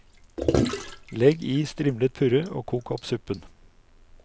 Legg i strimlet purre og kok opp suppen.